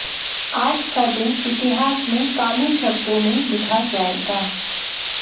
आज का दिन इतिहास में काले शब्दों में लिखा जाएगा